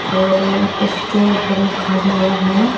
और उसके ऊपर लिखा हुआ है--